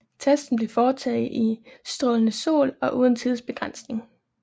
Testen blev foretaget i strålende sol og uden tidsbegrænsning